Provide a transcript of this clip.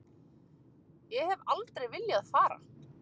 Ég hef aldrei viljað fara.